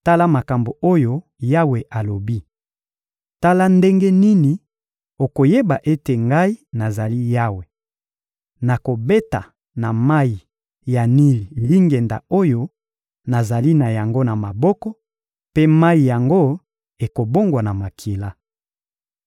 Tala makambo oyo Yawe alobi: Tala ndenge nini okoyeba ete Ngai nazali Yawe: Nakobeta na mayi ya Nili lingenda oyo nazali na yango na maboko, mpe mayi yango ekobongwana makila.